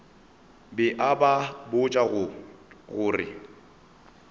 be a ba botša gore